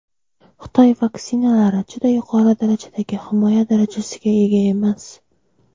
Xitoy vaksinalari "juda yuqori darajadagi himoya darajasiga ega emas".